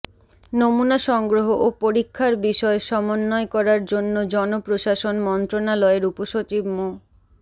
নমুনা সংগ্রহ ও পরীক্ষার বিষয় সমন্বয় করার জন্য জনপ্রশাসন মন্ত্রণালয়ের উপসচিব মো